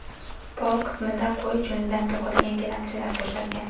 Pol qismida qo‘y junidan to‘qilgan gilamchalar to‘shalgan.